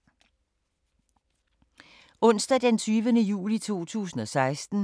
Onsdag d. 20. juli 2016